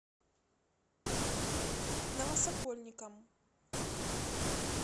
новосокольникам